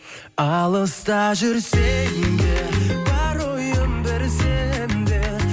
алыста жүрсем де бар ойым бір сенде